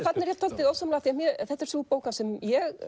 þarna er ég dálítið ósammála því þetta er sú bók hans sem